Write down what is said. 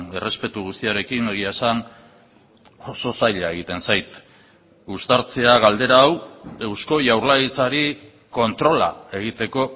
errespetu guztiarekin egia esan oso zaila egiten zait uztartzea galdera hau eusko jaurlaritzari kontrola egiteko